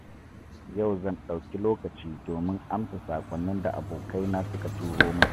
Yau zan ɗauki lokaci domin amsa saƙonnin da abokaina suka turo min.